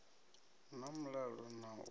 hu na mulalo na u